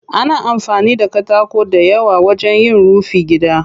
Ana amfani da katako dayawa wajen yin rufin gida.